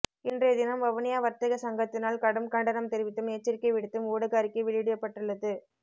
இன்றைய தினம் வவுனியா வர்த்தக சங்கத்தினால் கடும் கண்டனம் தெரிவித்தும் எச்சரிக்கை விடுத்தும் ஊடக அறிக்கை வெளியிடப்பட்டுள்ளது